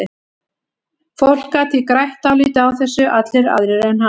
Fólk gat því grætt dálítið á þessu, allir aðrir en hann.